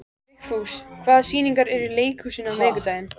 Vigfús, hvaða sýningar eru í leikhúsinu á miðvikudaginn?